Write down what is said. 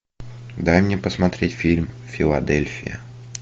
дай мне посмотреть фильм филадельфия